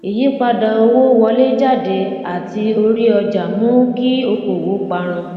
ìyípadà owó wọléjáde àti orí ọjà mú kí okòòwò parun